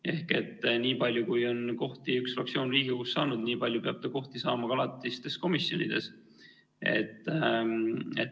Ehk nii palju, kui üks fraktsioon on Riigikogus kohti saanud, nii palju peab ta kohti saama ka alatistes komisjonides.